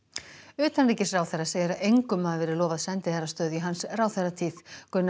utanríkisráðherra segir að engum hafi verið lofað sendiherrastöðu í hans ráðherratíð Gunnar